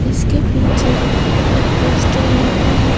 इसके पीछे एक पोस्टर लगा है।